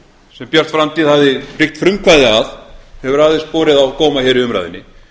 sem björt framtíð hafði byggt frumkvæði að hefur aðeins borið á góma hér í umræðunni